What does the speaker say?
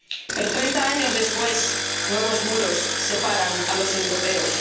Pero treinta años después nuevos muros separan a los europeos.